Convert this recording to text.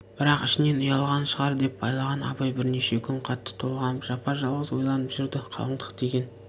бірақ ішінен ұялғаны шығар деп байлаған абай бірнеше күн қатты толғанып жапа-жалғыз ойланып жүрді қалыңдық деген